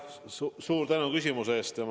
Suur tänu küsimuse eest!